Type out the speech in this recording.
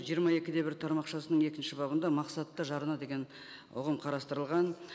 жиырма екі де бір тармақшасының екінші бабында мақсатты жарна деген ұғым қарастырылған